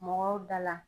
Mɔgɔw da la